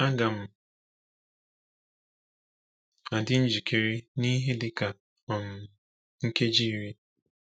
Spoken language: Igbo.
“Aga m adị njikere n’ihe dị ka um nkeji iri.”